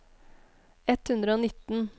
ett hundre og nitten